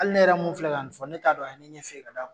Hali ne yɛrɛ mun fila ka nin fɔ ne t'a dɔn a ye ne ɲɛ fiye ka